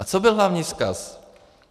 A co byl hlavní vzkaz?